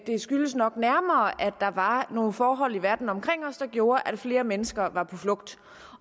skyldes nok nærmere at der var nogle forhold i verden omkring os der gjorde at flere mennesker var på flugt